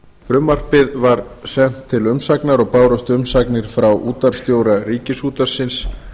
frumvarpið var sent til umsagnar og bárust umsagnir frá útvarpsstjóra ríkisútvarpsins